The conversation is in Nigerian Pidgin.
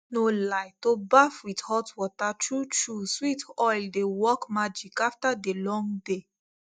no lie to baff with hot water truetrue sweet oil dey work magic after dey long day